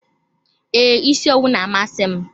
Ee, isi owu na-amasị m.